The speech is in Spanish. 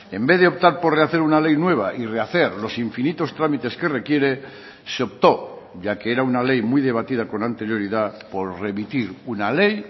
en vez de optar por rehacer una ley nueva y rehacer los infinitos trámites que requiere se optó ya que era una ley muy debatida con anterioridad por remitir una ley